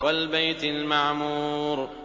وَالْبَيْتِ الْمَعْمُورِ